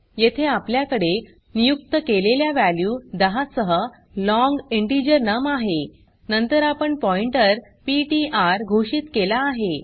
येथे आपल्याकडे नियुक्त केलेल्या वॅल्यू 10 सह लाँग इंटिजर नम आहे नंतर आपण पॉइण्टर पीटीआर घोषित केला आहे